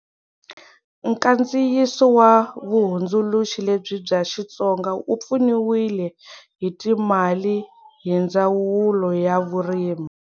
Nkandziyiso wa vuhundzuluxi lebyi bya Xitsonga wu pfuniwile hi timali hi Ndzawulo ya Vurimi.